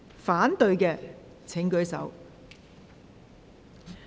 反對的請舉手。